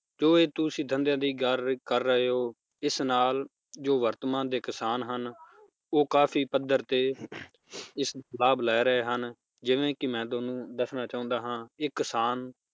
ਜੋ ਇਹ ਤੁਸੀਂ ਧੰਦਿਆਂ ਦੀ ਗੱਲ ਕਰ ਰਹੇ ਹੋ ਇਸ ਨਾਲ ਜੋ ਵਰਤਮਾਨ ਦੇ ਕਿਸਾਨ ਹਨ ਉਹ ਕਾਫੀ ਪੱਧਰ ਤੇ ਇਸ~ ਲਾਭ ਲੈ ਰਹੇ ਹਨ ਜਿਵੇ ਕਿ ਮੈ ਤੁਹਾਨੂੰ ਦੱਸਣਾ ਚਾਹੁੰਦਾ ਹਾਂ ਇੱਕ ਕਿਸਾਨ